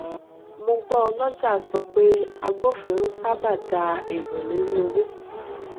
mo gbọ ọlọjà sọ pé agbófinró sábà dá èrò lórí owó